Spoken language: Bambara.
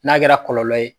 N'a kɛra kɔlɔlɔ ye